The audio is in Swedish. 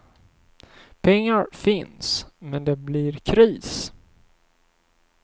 Pengar finns, men det blir kris.